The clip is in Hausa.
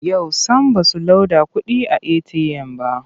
Yau sam ba su loda kuɗi a eti'yam ba.